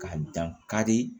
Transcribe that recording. Ka dan kari